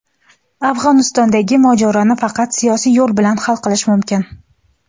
Afg‘onistondagi mojaroni faqat siyosiy yo‘l bilan hal qilish mumkin.